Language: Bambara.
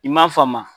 I m'a faamu